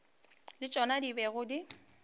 le tšona di bego di